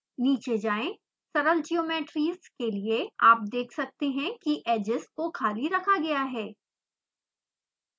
नीचे जाएँ सरल ज्योमेट्रीज़ के लिए आप देख सकते हैं कि edges को खाली रखा गया है